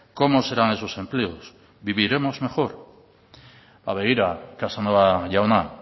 cómo serán esos empleos viviremos mejor ba begira casanova jauna